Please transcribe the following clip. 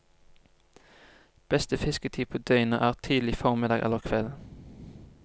Beste fisketid på døgnet er tidlig formiddag eller kveld.